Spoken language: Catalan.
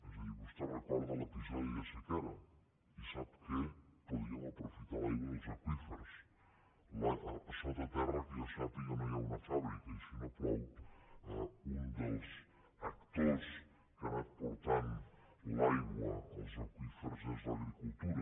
és a dir vostè recorda l’episodi de sequera i sap que podíem aprofitar l’aigua dels aqüífers sota terra que jo sàpiga no hi ha una fàbrica i si no plou un dels actors que ha anat portant l’aigua als aqüífers és l’agricultura